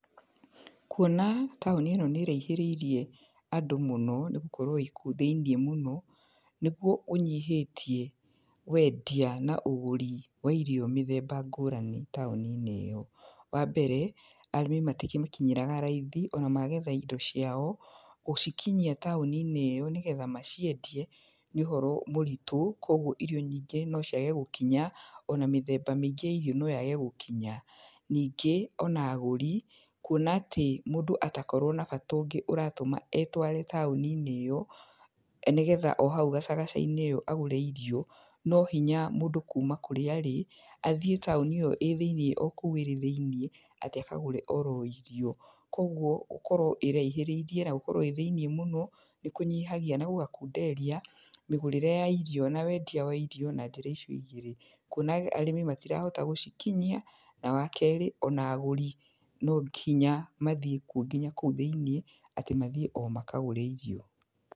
Kuona taũni ĩno nĩ ĩraihĩrĩirie andũ mũno, nĩ gũkorwo ĩkũu thĩinĩ mũno, nĩguo ũnyihĩtie wendia, na ũgũri wa irio mĩthemba ngũrani taũni-inĩ ĩno, wa mbere, arĩmi matimĩkinyagĩra raithi ona magetha indo ciao, gũcikinyia taũni-inĩ ĩyo nĩgetha maciendie, nĩ ũhoro mũritũ kwoguo irio nyingĩ no ciage gũkinya, ona mĩthemba mĩingĩ ya irio noyage gũkinya, ningĩ ona agũri kuona atĩ mũndũ atakorwo na bata ũngĩ ũratũma etware taũni-inĩ ĩyo, nĩgetha ohau gacagaca-inĩ ĩyo agũre irio, nohinya mũndũ kuuma kũrĩa arĩ athiĩ taũni ĩyo ĩ thĩinĩ o kũu arĩ kũu thĩinĩ, atĩ akagũre oro irio, koguo gũkorwo ĩraihĩrĩirie na gũkorwo ĩ thĩinĩ mũno nĩ kũnyihagia na gũgakunderia mĩgũrĩre ya irio, na wendia wa irio, na njĩra icio igĩrĩ, kuona arĩmi matirahota gũcikinyia na wa kerĩ ona agũri nonginya mathiĩ kuo nginya kũu thĩinĩ atĩ mathiĩ o makagũre irio.